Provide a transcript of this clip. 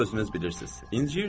Amma özünüz bilirsiz.